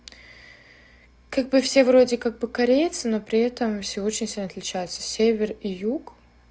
как бы все вроде как бы корейцы но при этом всё очень сильно отличаются север и юг